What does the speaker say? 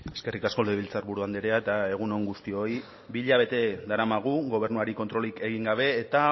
eskerrik asko legebiltzarburu andrea eta egun on guztioi bi hilabete daramagu gobernuari kontrolik egin gabe eta